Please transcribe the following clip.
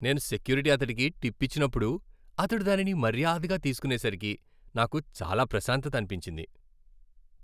నేను సెక్యూరిటీ అతడికి టిప్ ఇచ్చినప్పుడు, అతడు దానిని మర్యాదగా తీసుకునేసరికి నాకు చాలా ప్రశాంతత అనిపించింది.